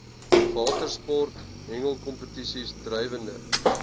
watersport hengelkompetisies drywende